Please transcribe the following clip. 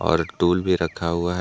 और एक टूल भी रखा हुआ है।